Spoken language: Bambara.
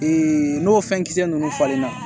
n'o fɛn kisɛ ninnu falenna